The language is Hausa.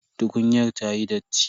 Tukunyar ta yi datti.